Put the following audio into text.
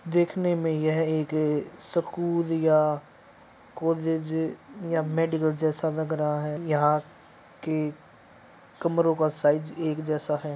देखने में यह एक ए सकूल या कॉलेज या मेडिकल जैसा लग रहा है। यहाँ के कमरो का साइज एक जैसा है।